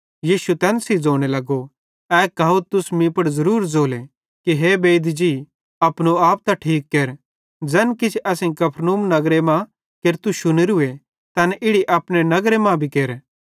यीशु तैन सेइं ज़ोने लगो ए कहावत मीं पुड़ ज़ुरुर ज़ोले कि ए बेईद जी अपनो आप त ठीक केर ज़ैन किछ असेईं कफरनहूम नगर मां केरतू शुनेरूए तैन इड़ी अपने नगरे मां भी केर